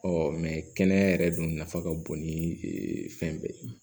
kɛnɛya yɛrɛ dun nafa ka bon ni fɛn bɛɛ ye